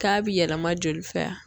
K'a bi yɛlɛma joli fɛ a